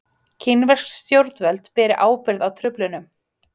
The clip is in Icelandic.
Kínversk stjórnvöld beri ábyrgð á truflunum